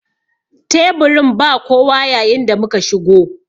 Teburin ba kowa yayin da muka shigo.